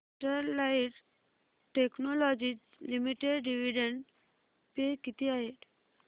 Sterlite technologies limited dividend pay किती आहे